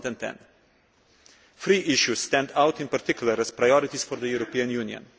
2010. Three issues stand out, in particular, as priorities for the European Union.